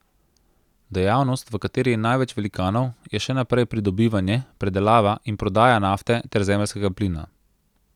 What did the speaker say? Dejavnost, v kateri je največ velikanov, je še naprej pridobivanje, predelava in prodaja nafte ter zemeljskega plina.